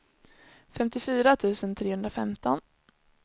femtiofyra tusen trehundrafemton